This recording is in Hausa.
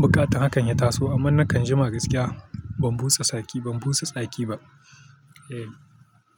buƙatan hakan ya taso, amma nakan jima gaskiya. Ban busa tsaki, ban busa tsaki ba. Eh.